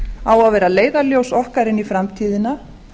á að vera leiðarljós okkar inn í framtíðina